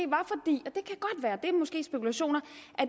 spekulationer